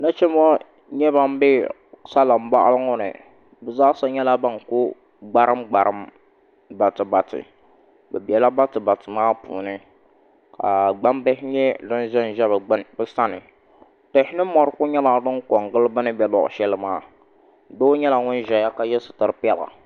Nachimbi ŋo n nyɛ ban bɛ salin boɣali ni bi zaasa nyɛla ban ku gbarim gbarim bati bati bi biɛla bati bati maa puuni ka gbambihi nyɛ din ʒɛnʒɛ bi sani tihi ni mori ku nyɛla din ko n gili bi ni bɛ luɣu shɛli maa doo nyɛla ŋun ʒɛya ka yɛ sitiri piɛla